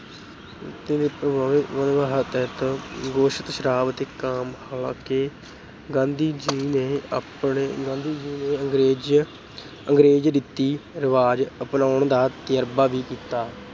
ਵਾਅਦੇ ਦੇ ਪ੍ਰਭਾਵ ਤਹਿਤ ਗੋਸ਼ਤ, ਸ਼ਰਾਬ ਅਤੇ ਕਾਮ ਹਾਲਾਂਕਿ ਗਾਂਧੀ ਜੀ ਨੇ ਆਪਣੇ ਅਹ ਗਾਂਧੀ ਜੀ ਨੇ ਅੰਗਰੇਜ ਅਹ ਅੰਗਰੇਜ਼ੀ ਰੀਤੀ ਰਿਵਾਜ ਅਪਣਾਉਣ ਦਾ ਤਜਰਬਾ ਵੀ ਕੀਤਾ।